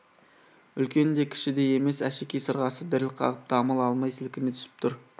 үлкен де кіші де емес әшекей сырғасы діріл қағып дамыл алмай сілкіне түсіп тұр